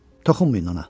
Toxunmayın ona.